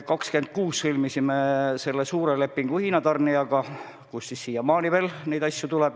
26. märtsil sõlmisime suure lepingu Hiina tarnijaga, kelle käest siiamaani veel neid asju tuleb.